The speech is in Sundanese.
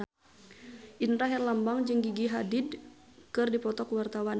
Indra Herlambang jeung Gigi Hadid keur dipoto ku wartawan